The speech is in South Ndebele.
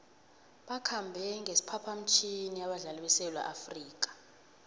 bakhambe ngesiphaphamtjhini abadlali besewula afrika